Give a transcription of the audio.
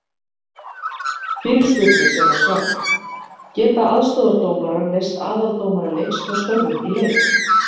Fyrirspurnir sem var svarað: Geta aðstoðardómarar leyst aðaldómara leiks frá störfum í leik?